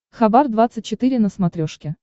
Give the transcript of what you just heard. хабар двадцать четыре на смотрешке